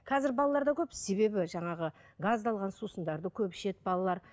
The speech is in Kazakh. қазір балаларда көп себебі жаңағы газдалған сусындарды көп ішеді балалар